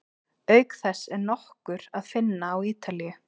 Auk þess er nokkur að finna á Ítalíu.